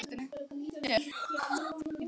Ákveður að bregða reipinu um bita í loftinu.